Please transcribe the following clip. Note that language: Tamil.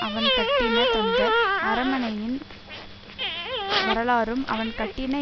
அவன் கட்டின தந்த அரமனையின் வரலாறும் அவன் கட்டின